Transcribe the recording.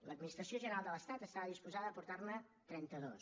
l’administració general de l’estat estava disposada a aportar ne trenta dos